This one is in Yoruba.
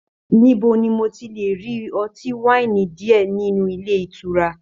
Níbo ní mo ti le rí ọtí waini diẹ nínú ilé ìtura?